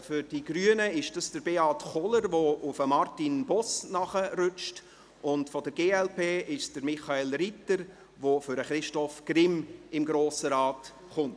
Für die Grünen ist es Beat Kohler, der für Martin Boss nachrutscht, und für die glp ist es Michael Ritter, der auf Christoph Grimm folgt und in den Grossen Rat kommt.